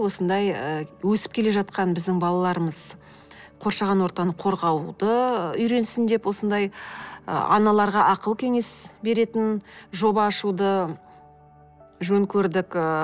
осындай ы өсіп келе жатқан біздің балаларымыз қоршаған ортаны қорғауды үйренсін деп осындай ы аналарға ақыл кеңес беретін жоба ашуды жөн көрдік ыыы